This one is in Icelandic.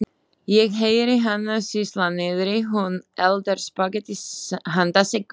Ég heyri hana sýsla niðri, hún eldar spagettí handa Siggu.